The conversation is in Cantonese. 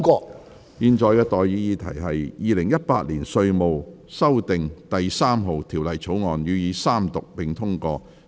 我現在向各位提出的待議議題是：《2018年稅務條例草案》予以三讀並通過。